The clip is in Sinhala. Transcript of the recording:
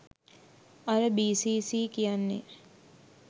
අර බී.සී.සී කියන්නේ